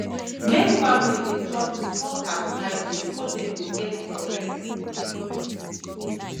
make family de chop small carbohydrate so that dem go get correct body